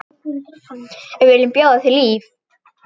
Við viljum bjóða þér líf.